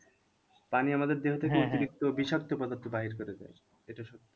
পানি আমাদের অতিরিক্ত বিষাক্ত পদার্থ বাহির করে দেয় এটা সত্য।